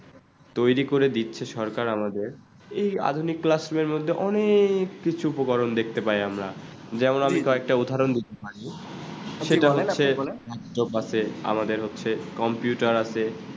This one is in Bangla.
তৈরি করে দিচ্ছে সরকার আমাদের এই আধুনিক classroom মধ্যে অনেককিছু উপকরণ দেখতে পাই আমরা যেমন কয়েকটা উদাহরণ দিতে পারি সেটা হচ্ছে বলেন আপনি বলেন বাড়ছে আমাদের হচ্ছে computer আছে ।